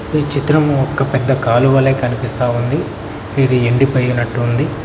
ఈ చిత్రంము ఒక్క పెద్ద కాలువలే కనిపిస్తా ఉంది ఇది ఎండిపోయినట్టుంది.